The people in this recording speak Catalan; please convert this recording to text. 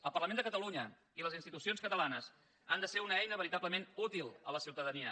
el parlament de catalunya i les institucions catalanes han de ser una eina veritablement útil a la ciutadania